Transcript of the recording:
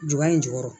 Juba in jukɔrɔ